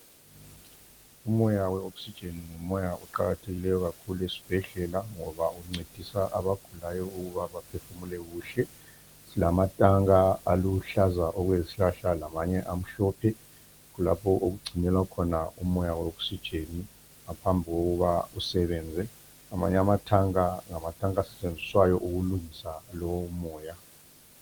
Umoya we"oxygen"ngumoya oqakathekileyo kakhulu esibhedlela ngoba uncedisa abagulayo ukuba baphefumule kuhle. Silamatanka aluhlaza okwezihlahla lamanye amhlophe, kulapho okugcinelwa khona umoya we"oxygen" ngaphambokuba usebenze. Amanye amatanka ngamatanka asetshenziswayo ukulungisa lowo moya.